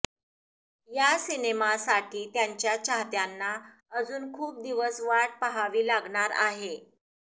या सिनेमासाठी त्यांच्या चाहत्यांना अजून खूप दिवस वाट पहावी लागणार आहे